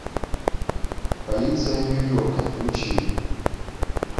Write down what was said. полиция нью йорка включи